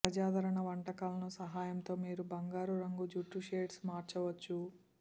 ప్రజాదరణ వంటకాలను సహాయంతో మీరు బంగారు రంగు జుట్టు షేడ్స్ మార్చవచ్చు